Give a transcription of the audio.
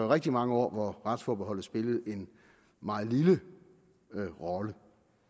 rigtig mange år hvor retsforbeholdet spillede en meget lille rolle